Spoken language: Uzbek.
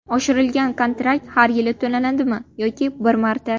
Oshirilgan kontrakt har yili to‘lanadimi yoki bir marta?